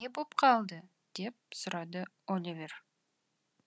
не боп қалды деп сұрады оливер